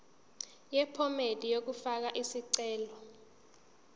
yephomedi yokufaka isicelo